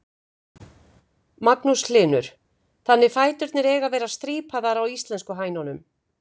Magnús Hlynur: Þannig fæturnir eiga að vera strípaðar á íslensku hænunum?